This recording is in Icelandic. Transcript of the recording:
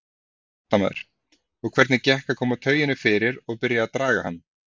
Fréttamaður: Og hvernig gekk að koma tauginni fyrir og byrja að draga hann?